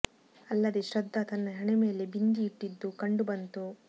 ಅಲ್ಲದೇ ಶ್ರದ್ಧಾ ತನ್ನ ಹಣೆ ಮೇಲೆ ಬಿಂದಿ ಇಟ್ಟಿದ್ದು ಕಂಡು ಬಂತು